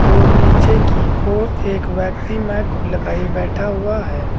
और नीचे की ओर एक व्यक्ति माइक लगाए बैठा हुआ है।